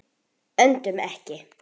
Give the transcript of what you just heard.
Öndum ekki.